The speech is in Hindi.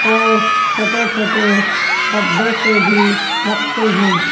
और छोटे छोटे डब्बे से भी रखे हैं।